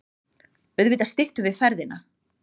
Auðvitað styttum við ferðina.